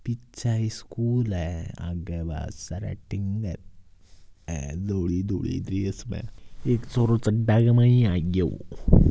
पीछे स्कूल है आगे बस सेरेटिग है धोली धोली देश में एक छोरो चड्डा के माय आग्यो।